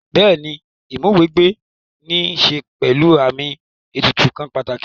Bẹ́ẹ̀ni Ìmúw'ẹgbẹ́ ní ṣe pẹ̀lú àmì ètùtù kan pàtàkì